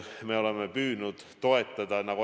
Me oleme püüdnud ajakirjandust toetada.